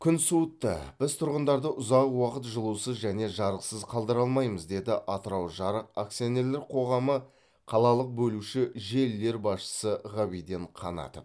күн суытты біз тұрғындарды ұзақ уақыт жылусыз және жарықсыз қалдыра алмаймыз деді атырау жарық акционерлер қоғамы қалалық бөлуші желілер басшысы ғабиден қанатов